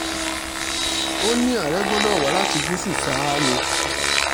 ó ní àárẹ̀ gbọ́dọ̀ wá láti gúúsù ṣáá ni